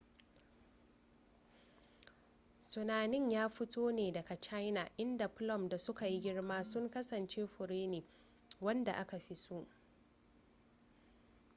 tunanin ya fito ne daga china inda plum da suka yi girma sun kasance fure ne wanda aka fi so